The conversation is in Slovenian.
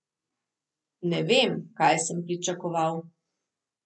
Ne vem, kaj sem pričakoval.